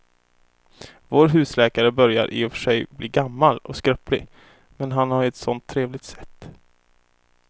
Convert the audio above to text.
Vår husläkare börjar i och för sig bli gammal och skröplig, men han har ju ett sådant trevligt sätt!